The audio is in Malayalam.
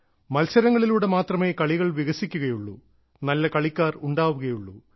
മത്സരങ്ങളിലൂടെ മാത്രമേ കളികൾ വികസിക്കുകയുള്ളൂ നല്ല കളിക്കാർ ഉണ്ടാവുകയുള്ളൂ